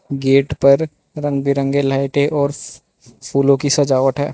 Gate पर रंग-बिरंगे लाइटें है और फूलों की सजावट है।